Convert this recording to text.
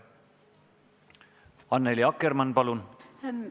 Annely Akkermann, palun!